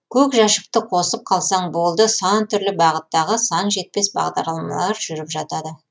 көк жәшікті қосып қалсаң болды сан түрлі бағыттағы сан жетпес бағдарламалар жүріп жатады